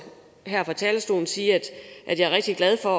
her fra talerstolen sige at jeg er rigtig glad for